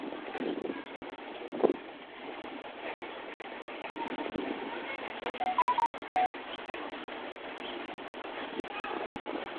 Goosashada galleyda iyo haruurka xilliga caanaha; looma baahna sonkor/molasses dheeraad ah.